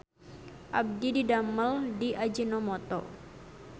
Abdi didamel di Ajinomoto